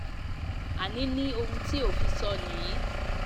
àní ní ohun tí òfin sọ nìyí